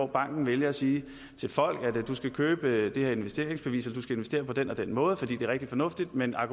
banken vælger at sige til folk at de skal købe det her investeringsbevis eller investere på den og den måde fordi det er rigtig fornuftigt men